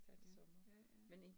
Ja, ja ja